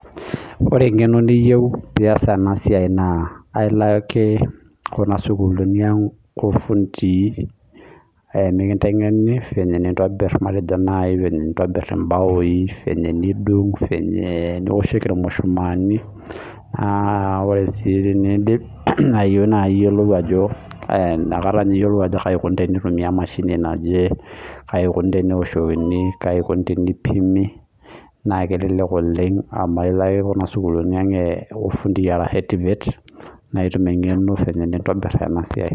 Ore eng'eno niyeu piyas ena siai naa ailake kuna sukulini ang' oo fundi aisho mikinteng'eni fenye nintobir matejo fenye nintobir ibaoi fenye nidung' fenye nioshoki irmushumani aa ore sii tenidip naa iyolou ajo kai ikoni teneitumia emashini naje kaikoni tenewoshokini kaikoni tenipimi naa kelelek oleng' amu ilo kuna sukulni ang' arashu TVETS naa itum eng'eno file nintobir ena siai .